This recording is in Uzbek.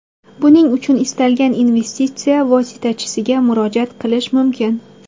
Buning uchun istalgan investitsiya vositachisiga murojaat qilish mumkin.